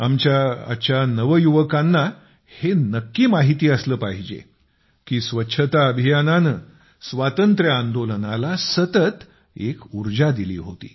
आमच्या आजच्या नौजवानांना हे नक्की माहिती असलं पाहिजे की स्वच्छता अभियानाने स्वातंत्र्य आंदोलनाला सतत एक ऊर्जा दिली होती